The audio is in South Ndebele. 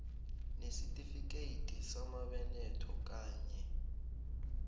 nesitifikethi samabeletho kanye